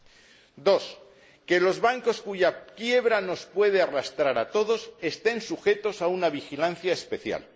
segundo, que los bancos cuya quiebra nos puede arrastrar a todos estén sujetos a una vigilancia especial